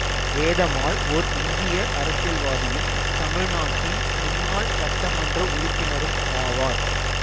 வேதம்மாள் ஓர் இந்திய அரசியல்வாதியும் தமிழ்நாட்டின் முன்னாள் சட்டமன்ற உறுப்பினரும் ஆவார்